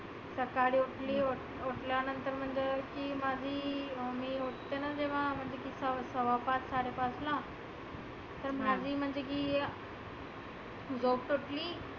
सकाळी उठली उठल्यानंतर म्हणजे की माझी अं मी उठलेना जेव्हा सव्वा पाच साडे पाचला. तर माझी म्हटले की उगच उठली.